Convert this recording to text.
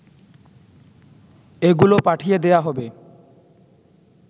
এগুলো পাঠিয়ে দেয়া হবে